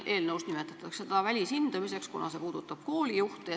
Eelnõus nimetatakse seda välishindamiseks, kuna see puudutab koolijuhte.